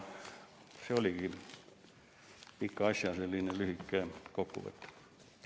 See oligi selle pika asja lühike kokkuvõte.